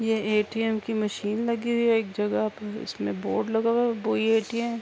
یہ ے.ٹی.یم کی مشین لگی ہوئی ہے۔ ایک جگہ ہے۔ اسمے بورڈ لگا ہوا ہے۔ یہ ے.ٹی.یم --